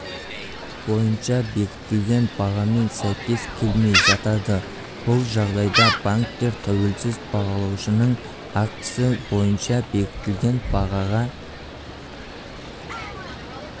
бойынша бекітілген бағамен сәйкес келмей жатады бұл жағдайда банктер тәуелсіз бағалаушының актісі бойынша бекітілген бағаға